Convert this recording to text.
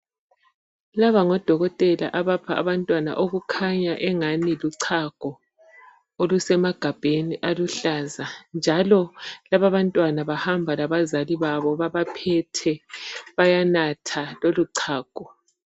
Laba ngodokotela abapha abantwana okukhanya engani luchago olusemagabheni aluhlaza njalo laba abantwana bahamba labazali babo babaphethe bayanatha lolu chago.